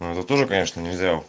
это тоже конечно нельзя